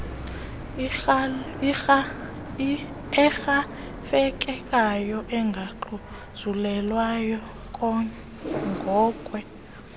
erhafelekayo engaxhuzulelwayo ngokwe